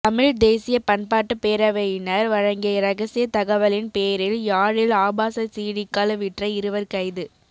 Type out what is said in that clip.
தமிழ்த் தேசிய பண்பாட்டுப் பேரவையினர் வழங்கிய இரகசிய தகவலின் பேரில் யாழில் ஆபாச சீடிக்கள் விற்ற இருவர் கைது